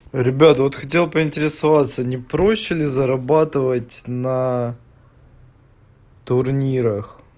ребят вот хотел поинтересоваться не проще ли зарабатывать на турнирах